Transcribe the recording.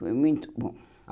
Foi muito bom.